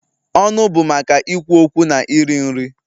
Ọnụ bụ maka ikwu okwu na iri nri.